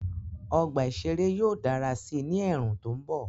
Ọgbà ìṣeré yóò dára sí i ní ẹ̀ẹ̀rùn tó mbọ̀